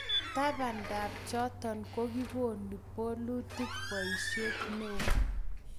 tabandab choto, kokikonu bolutik boisiet neoo